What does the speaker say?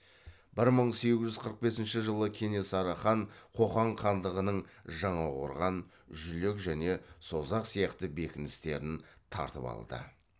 бір мың сегіз жүз қырық бесінші жылы кенесары хан қоқан хандығының жаңақорған жүлек және созақ сияқты бекіністерін тартып алды